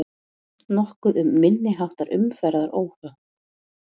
Nokkuð um minniháttar umferðaróhöpp